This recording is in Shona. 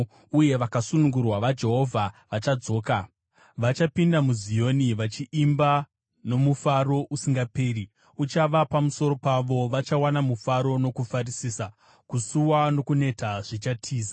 uye vakasunungurwa vaJehovha vachadzoka. Vachapinda muZioni vachiimba; mufaro usingaperi uchava pamusoro pavo. Vachawana mufaro nokufarisisa, kusuwa nokuneta zvichatiza.